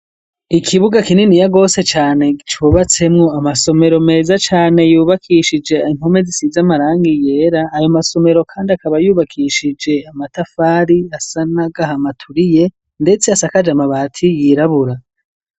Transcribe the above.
Ikibuga kininiya gose cane cubatsemwo amasomero meza cane yubakishije impome zisize amaranga yera ,ayo masomero kandi akaba yubakishije amatafari asa na gahama aturiye ndetse asakaje mabati yirabura.